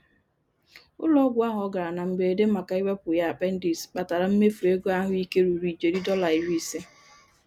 Ụlọ-ọgwụ ahụ ọ gara na mberede màkà iwepụ ya apendis kpatara mmefu ego ahụike ruru ijeri Dọla iri ise.